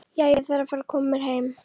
Jæja, ég þarf að fara að koma mér heim